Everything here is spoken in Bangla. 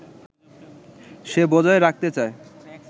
সে বজায় রাখতে চায়